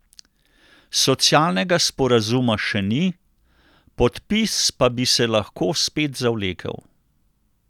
Socialnega sporazuma še ni, podpis pa bi se lahko spet zavlekel.